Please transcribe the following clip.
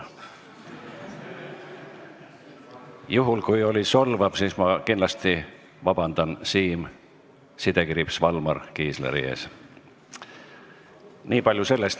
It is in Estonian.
Juhul kui see oli solvav, siis ma palun kindlasti Siim Valmar Kiisleri käest vabandust.